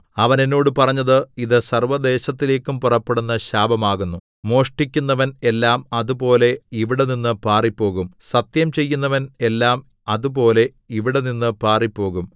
അവൻ എന്നോട് പറഞ്ഞത് ഇതു സർവ്വദേശത്തിലേക്കും പുറപ്പെടുന്ന ശാപമാകുന്നു മോഷ്ടിക്കുന്നവൻ എല്ലാം അതുപോലെ ഇവിടെനിന്ന് പാറിപ്പോകും സത്യം ചെയ്യുന്നവൻ എല്ലാം അതുപോലെ ഇവിടെനിന്ന് പാറിപ്പോകും